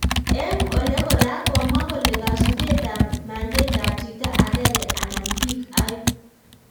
Eng� ole koraa ,komwaa kole kasubeet ab mandate ab chito agenge anan bik aeng�